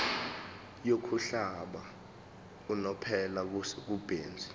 yokuhlala unomphela kubenzi